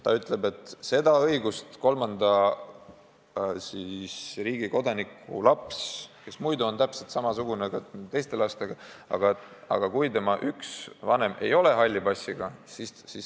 See ütleb, et seda õigust kolmanda riigi kodanikust lapsel, kes muidu on täpselt samaväärne teiste lastega, ei ole, kui üks tema vanem ei ole halli passiga.